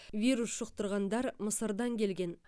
вирус жұқтырғандар мысырдан келген